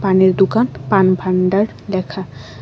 পানের দোকান পান ভান্ডার লেখা।